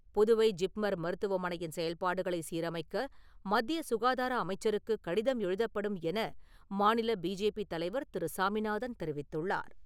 புதுவை ஜிப்மர் மருத்துவமனையின் செயல்பாடுகளை சீரமைக்க மத்திய சுகாதார அமைச்சருக்கு கடிதம் எழுதப்படும் என மாநில பிஜேபி தலைவர் திரு. சாமிநாதன் தெரிவித்துள்ளார்.